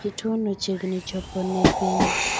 Kituo no chiegni chopone piny.